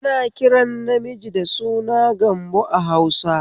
Ana kiran namiji da suna Gambo a Hausa